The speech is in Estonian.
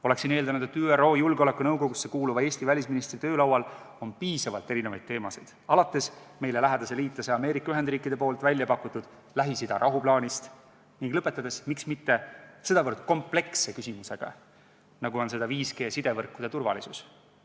Oleksin eeldanud, et ÜRO Julgeolekunõukogusse kuuluva Eesti välisministri töölaual on piisavalt teemasid, alates meile lähedase liitlase Ameerika Ühendriikide väljapakutud Lähis-Ida rahuplaanist ning lõpetades, miks mitte, sedavõrd kompleksse küsimusega, nagu seda on 5G-sidevõrkude turvalisus.